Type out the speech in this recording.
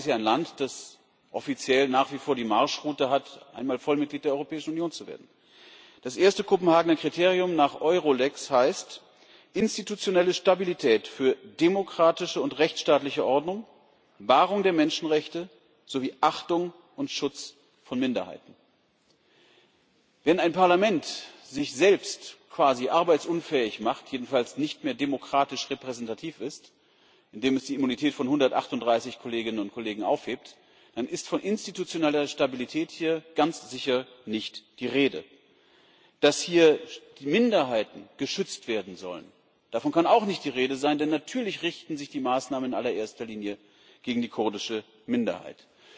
Die Türkei ist ja ein Land, das offiziell nach wie vor die Marschroute hat, einmal Vollmitglied der Europäischen Union zu werden. Das erste Kopenhagener Kriterium nach Eur lex heißt institutionelle Stabilität für demokratische und rechtsstaatliche Ordnung, Wahrung der Menschenrechte sowie Achtung und Schutz von Minderheiten. Wenn ein Parlament sich selbst quasi arbeitsunfähig macht, jedenfalls nicht mehr demokratisch repräsentativ ist, indem es die Immunität von 138 Kolleginnen und Kollegen aufhebt, dann ist von institutioneller Stabilität hier ganz sicher nicht die Rede. Davon, dass hier Minderheiten geschützt werden sollen, kann auch nicht die Rede sein, denn natürlich richten sich die Maßnahmen in allererster Linie gegen die kurdische Minderheit.